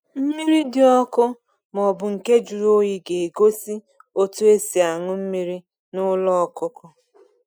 Mmiri dị ọkụ maọbụ nke juru oyi ga egosi otu esi añu mmiri na ụlọ ọkụkọ